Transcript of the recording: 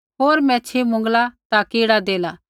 होर मैच्छ़ी मुँगला ता कीड़ा देला